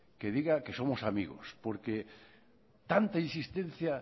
que diga que somos amigos porque tanta insistencia